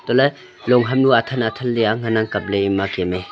chatle long ham nu athang thang le ngan ang kapley kem a.